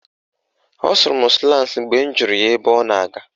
Ọ sụrụ m slans mgbe m jụrụ ya ebe ọ na-aga